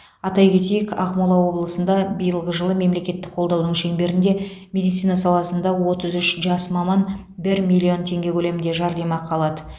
атай кетейік ақмола облысында биылғы жылы мемлекеттік қолдауының шеңберінде медицина саласында отыз үш жас маман бір миллион теңге көлемінде жәрдемақы алады